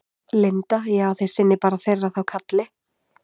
Linda: Já, þið sinnið bara þeirra þá kalli?